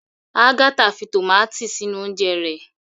Agatha fí tomati sínú oúnje rẹ